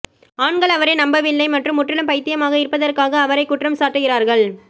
ஆண்கள் அவரை நம்பவில்லை மற்றும் முற்றிலும் பைத்தியமாக இருப்பதற்காக அவரைக் குற்றம் சாட்டுகிறார்கள்